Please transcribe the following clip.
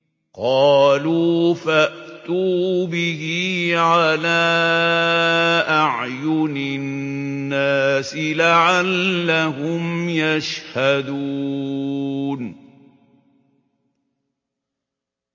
قَالُوا فَأْتُوا بِهِ عَلَىٰ أَعْيُنِ النَّاسِ لَعَلَّهُمْ يَشْهَدُونَ